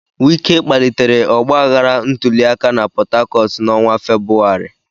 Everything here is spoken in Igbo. Wike kpalitere ọgbaghara ntuli aka na Port Harcourt n'ọnwa Febụwarị.